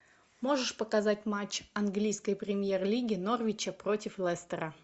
можешь показать матч английской премьер лиги норвича против лестера